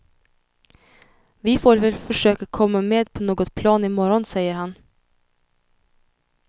Vi får väl försöka komma med på något plan i morgon, säger han.